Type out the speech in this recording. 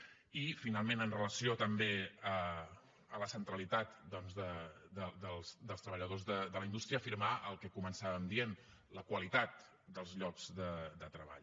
i finalment amb relació també a la centralitat doncs dels treballadors de la indústria afirmar el que començàvem dient la qualitat dels llocs de treball